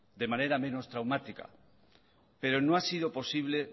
de manera menos traumática pero no ha sido posible